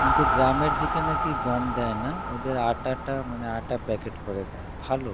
কিন্তু গ্রামের দিকে নাকি গম দেয়না ওদের আটাটা মানে আটা packet করে দেয় ভালো